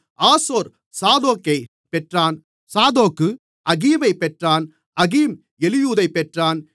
ஆசோர் சாதோக்கைப் பெற்றான் சாதோக்கு ஆகீமைப் பெற்றான் ஆகீம் எலியூதைப் பெற்றான்